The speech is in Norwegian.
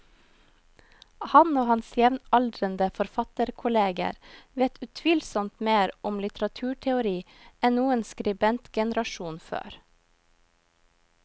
Han og hans jevnaldrende forfatterkolleger vet utvilsomt mer om litteraturteori enn noen skribentgenerasjon før.